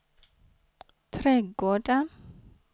trädgården